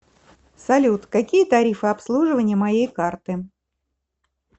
салют какие тарифы обслуживания моей карты